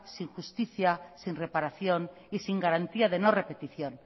sin justicia sin reparación y sin garantía de no repetición